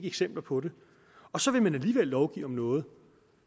eksempler på det og så vil man alligevel lovgive om noget